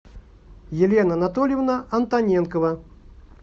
елена анатольевна антоненкова